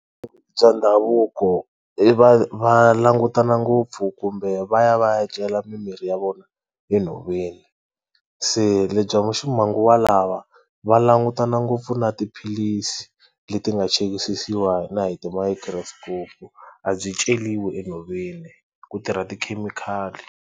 Bya ndhavuko i va va langutana ngopfu kumbe va ya va ya cela mimirhi ya vona enhoveni se lebyi bya ximanguva lawa va langutana ngopfu na tiphilisi leti nga chekisisawa na hi ti microscope a byi ceriwa enhoveni ku tirha tikhemikhali.